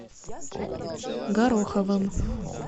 гороховым